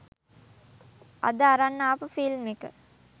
අද අරන් ආපු ෆිල්ම් එක